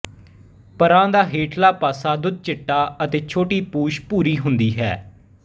ਪਰਾਂ ਦਾ ਹੇਠਲਾ ਪਾਸਾ ਦੁੱਧ ਚਿੱਟਾ ਅਤੇ ਛੋਟੀ ਪੂਛ ਭੂਰੀ ਹੁੰਦੀ ਹੈ